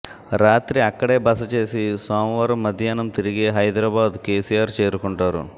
రాత్రికి అక్కడే బస చేసి సోమవారం మధ్యాహ్నం తిరిగి హైదరాబాద్ కేసిఆర్ చేరుకుంటారు